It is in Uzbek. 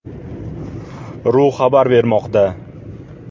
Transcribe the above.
ru” xabar bermoqda .